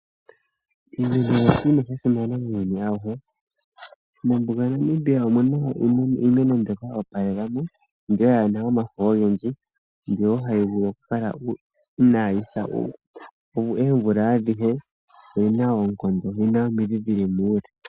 iimeno iinima ya simana muuyuni auhe. Mombuga yaNamibia omu na iimeno mbyoka yo opalela mo, mbyoka yaa na omafo gendji mbyoka wo hayi vulu okukala inaayi sa oomvula adhihe. Oyi na oonkondo, oyi na omidhi dhi li muule.